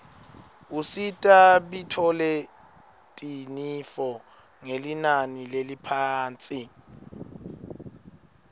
usita bitfoletinifo ngelinani leliphasi